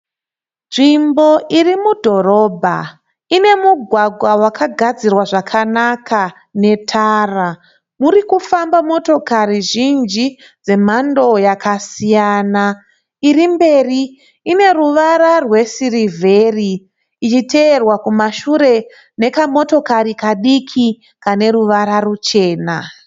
Nzvimbo iri mudhorobha, ine mugwagwa wakagadzirwa zvakanaka netara. Uri kufamba motokari zhinji dzemhando yakasiyana, iri mberi ine ruvara rwesirivheri, ichiteverwa kumashure nekamotokari kadiki kane ruvara ruchena